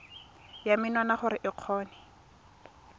ya menwana gore o kgone